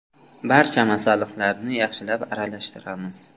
Barcha masalliqlarni yaxshilab aralashtiramiz.